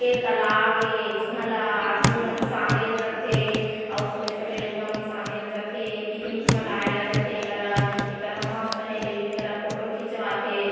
ए तालाब ए जिहा ला आदमी मन सांदेल जथे छोटे-छोटे लइका मन सांदेल थे पिकनिक मनाए ला जाथे एकरा मस्त हे एकरा फोटो खिंचवाथे।